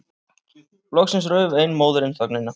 Loksins rauf ein móðirin þögnina.